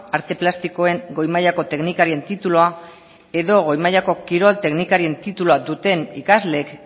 arte plastikoen goi mailako teknikarien titulua edo goi mailako kirol teknikarien titulua duten ikasleek